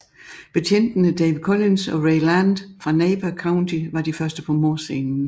Betjentene Dave Collins og Ray Land fra Napa County var de første på mordscenen